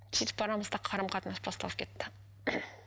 сөйтіп арамызда қарым қатынас басталып кетті